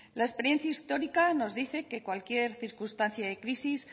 la experiencia histórica nos dice que cualquier circunstancia de crisis